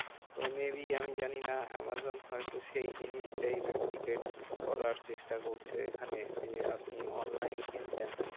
তো maybe আমি জানিনা, আমাজন হয়তো সেই জিনিসটাই duplicate করার চেষ্টা হ্যাঁ করছে এখানে যে, আপনি online কিনছেন।